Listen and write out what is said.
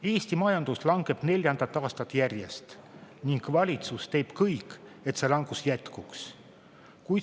Eesti majandus langeb neljandat aastat järjest ning valitsus teeb kõik, et see langus jätkuks.